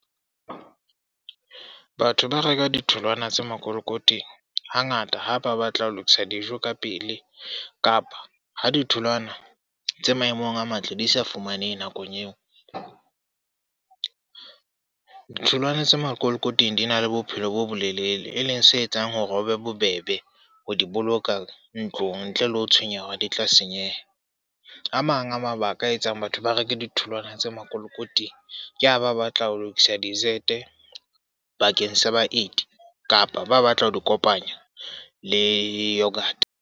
Batho ba reka ditholwana tse makolokoting ha ngata ha ba batla ho lokisa dijo ka pele. Kapa ho ditholwana tse maemong a matle, di sa fumanehe nakong eo. Ditholwana tse makolokoting di na le bophelo bo bolelele, e leng se etsang hore ho be bobebe ho di boloka ntlong ntle le ho tshwenyeha hore di tla senyeha. A mang mang a mabaka a etsang batho ba reke ditholwana tse makolokoting ke ha ba batla ho lokisa desert bakeng sa baeti. Kapa ba batla ho di kopanya le yoghurt.